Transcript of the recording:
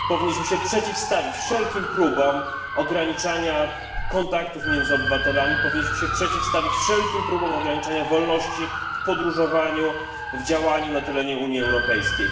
Powinniśmy się przeciwstawić wszelkim próbom ograniczania kontaktów między obywatelami, powinniśmy się przeciwstawić wszelkim próbom ograniczania wolności w podróżowaniu, w działaniu na terenie Unii Europejskiej.